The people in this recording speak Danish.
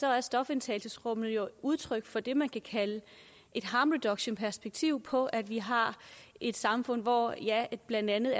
er stofindtagelsesrummene jo udtryk for det man kan kalde et harm reduction perspektiv på at vi har et samfund hvor blandt andet